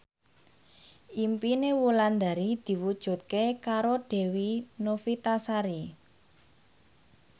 impine Wulandari diwujudke karo Dewi Novitasari